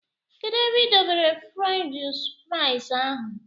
Kedụ ebe i dọbere fruench frais ahụ?